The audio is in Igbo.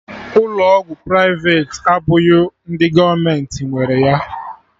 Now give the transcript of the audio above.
Ụlọ ọgwụ privati abụghị ndị gọọmenti nwere ya